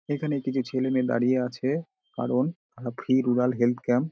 এখানে কিছু ছেলেমেয়ে দাঁড়িয়ে আছে কারণ এ ফ্রি রুরাল হেলথ ক্যাম্প ।